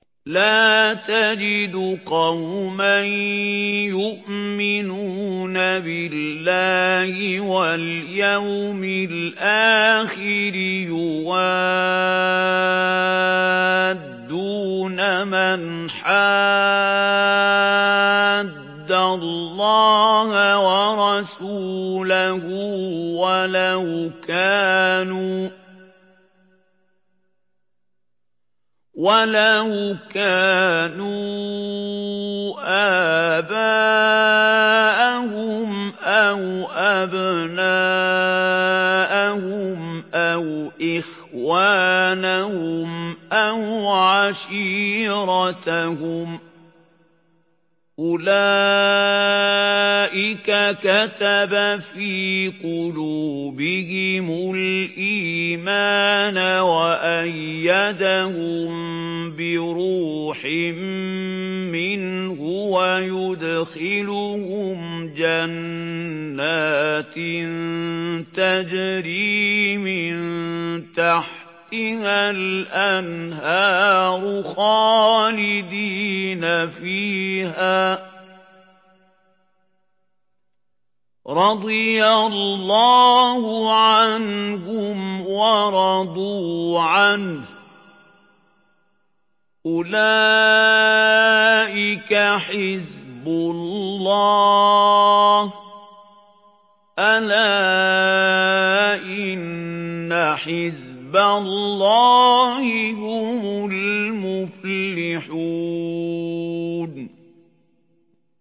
لَّا تَجِدُ قَوْمًا يُؤْمِنُونَ بِاللَّهِ وَالْيَوْمِ الْآخِرِ يُوَادُّونَ مَنْ حَادَّ اللَّهَ وَرَسُولَهُ وَلَوْ كَانُوا آبَاءَهُمْ أَوْ أَبْنَاءَهُمْ أَوْ إِخْوَانَهُمْ أَوْ عَشِيرَتَهُمْ ۚ أُولَٰئِكَ كَتَبَ فِي قُلُوبِهِمُ الْإِيمَانَ وَأَيَّدَهُم بِرُوحٍ مِّنْهُ ۖ وَيُدْخِلُهُمْ جَنَّاتٍ تَجْرِي مِن تَحْتِهَا الْأَنْهَارُ خَالِدِينَ فِيهَا ۚ رَضِيَ اللَّهُ عَنْهُمْ وَرَضُوا عَنْهُ ۚ أُولَٰئِكَ حِزْبُ اللَّهِ ۚ أَلَا إِنَّ حِزْبَ اللَّهِ هُمُ الْمُفْلِحُونَ